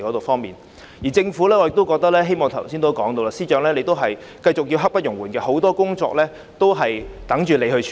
至於政府方面，我剛才也提到司長的工作刻不容緩，很多工作有待司長處理。